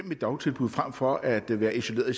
dagtilbud frem for at være isoleret i